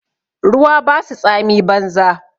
Ruwa ba su tsami banza